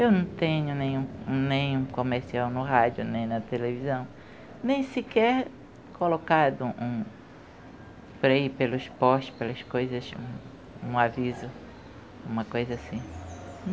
Eu não tenho nem um nem um comercial no rádio, nem na televisão, nem sequer colocado um freio pelos postes, pelas coisas, um um aviso, uma coisa assim.